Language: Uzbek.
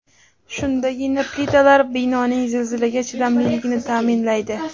Shundagina plitalar binoning zilzilaga chidamliligini ta’minlaydi.